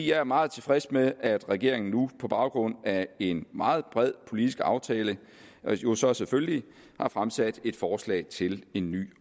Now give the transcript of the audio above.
jeg er meget tilfreds med at regeringen nu på baggrund af en meget bred politisk aftale jo så selvfølgelig har fremsat et forslag til en ny